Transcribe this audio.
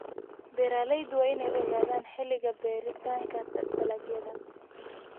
Beeraleydu waa inay ogaadaan xilliga beeritaanka dalagyada.